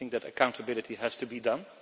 I think that accountability has to be done.